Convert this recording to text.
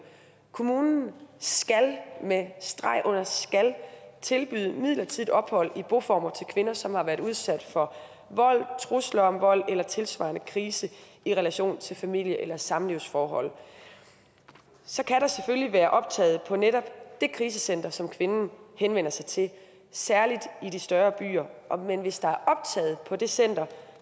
kommunen skal med streg under skal tilbyde midlertidigt ophold i boformer til kvinder som har været udsat for vold trusler om vold eller tilsvarende krise i relation til familie eller samlivsforhold så kan der selvfølgelig være optaget på netop det krisecenter som kvinden henvender sig til særlig i de større byer men hvis der er optaget på det center